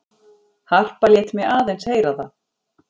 Harpa lét mig aðeins heyra það.